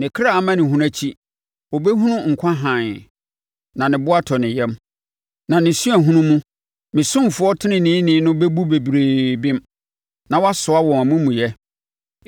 Ne kra amanehunu akyi, ɔbɛhunu nkwa hann, na ne bo atɔ ne yam; na ne suahunu mu, me ɔsomfoɔ teneneeni no bɛbu bebree bem, na wasoa wɔn amumuyɛ.